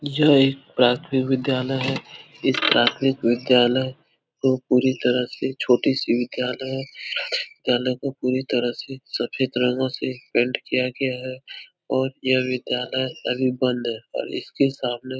यह एक प्राथमिक विद्यालय है। इस प्राथमिक विद्यालय को पूरी तरह से छोटी सी विज्ञालय विद्यालय को पूरी तरह से सफेद रंगों से पेंट किया गया है और यह विद्यालय अभी बंद है और इसके सामने --